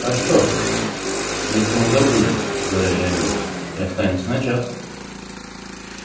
а что если он забудет говорили они и останется на час